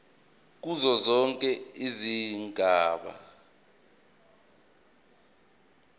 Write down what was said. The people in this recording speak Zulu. kuzo zonke izigaba